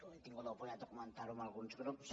he tingut l’oportunitat de comentar ho amb alguns grups